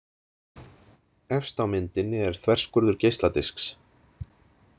Efst á myndinni er þverskurður geisladisks.